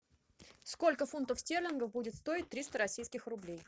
сколько фунтов стерлингов будет стоить триста российских рублей